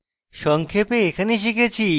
সংক্ষেপে